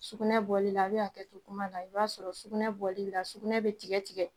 Sugunɛ bɔlila a bi hakɛ to kuma la, i b'a sɔrɔ sugunɛ bɔli la sugunɛ bi tigɛ tigɛ